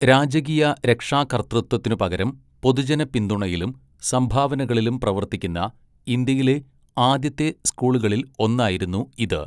രാജകീയ രക്ഷാകർതൃത്വത്തിനുപകരം പൊതുജന പിന്തുണയിലും സംഭാവനകളിലും പ്രവർത്തിക്കുന്ന ഇന്ത്യയിലെ ആദ്യത്തെ സ്കൂളുകളിൽ ഒന്നായിരുന്നു ഇത്.